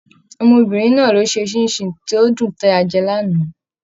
Ọmọbìnrin náà ló n ṣe ṣinṣin tó dùn tí a jẹ l'ana.